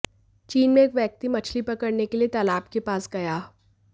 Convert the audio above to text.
चीन में एक व्यक्ति मछली पकड़ने के लिए तालाब के पास गया